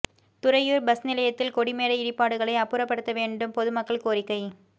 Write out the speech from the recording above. Thuraiyur bus நிலையத்தில் கொடி மேடை இடிபாடுகளை அப்புறப்படுத்த வேண்டும் பொதுமக்கள் கோரிக்கை